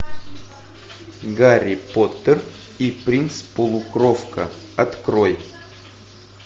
гарри поттер и принц полукровка открой